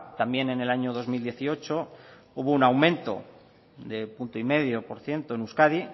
también en el año dos mil dieciocho hubo un aumento de un uno coma cinco por ciento en euskadi